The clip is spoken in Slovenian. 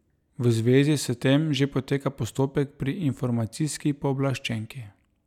V zvezi s tem že poteka postopek pri informacijski pooblaščenki.